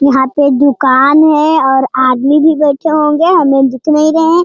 यहां पे एक दुकान है और आदमी भी बैठे होंगे हमें दिख नहीं रहे है।